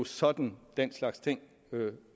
sådan den slags ting